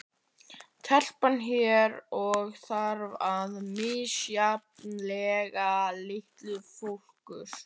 Telpan hér og þar í misjafnlega litlum fókus.